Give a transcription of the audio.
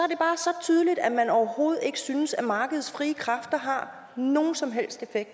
tydeligt at man overhovedet ikke synes at markedets frie kræfter har nogen som helst effekt